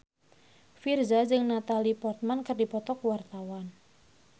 Virzha jeung Natalie Portman keur dipoto ku wartawan